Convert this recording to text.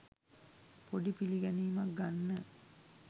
පොඩි පිළිගැනීමක් ගන්න